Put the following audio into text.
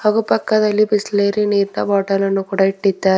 ಹಾಗೂ ಪಕ್ಕದಲ್ಲಿ ಬಿಸ್ಲರಿ ನೀರ್ನ ಬಾಟಲ್ ಅನ್ನು ಕೂಡ ಇಟ್ಟಿದ್ದಾ--